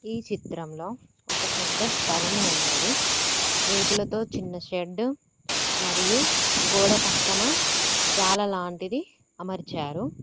ఈ చిత్రంలో ఒక పెద్ద స్థలము ఉన్నది రేకులతో చిన్న షెడ్డు మరియు గోడ పక్కన జాల లాంటిది అమర్చారు.